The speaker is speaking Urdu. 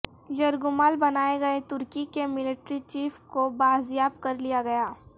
یرغمال بنائے گئے ترکی کے ملٹری چیف کو بازیاب کرلیا گیا